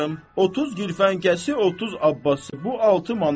30 girvankəsi 30 Abası, bu 6 manat.